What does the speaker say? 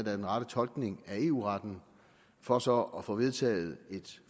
er den rette tolkning af eu retten for så at få vedtaget et